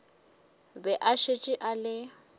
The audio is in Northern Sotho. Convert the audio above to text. be a šetše a le